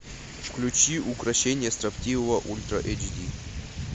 включи укрощение строптивого ультра эйч ди